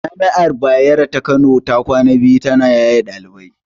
Jami'ar Bayero ta Kano ta kwana biyu ta na yaye ɗalibai